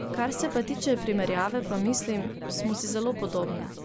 Kar se pa tiče primerjave pa mislim, smo si zelo podobne.